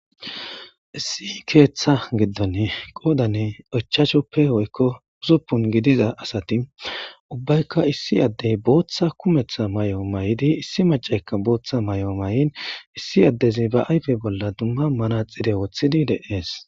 Issi keeththa giddonne qoodanne ochashoppe hoykko husuppun gidiza asati ubbaykka issi addey booththa kumeththa may'o may'idi issi macaykka booththa may'o may'in issi addezi ba ayfe bolla dumma mana xire woththidi deees.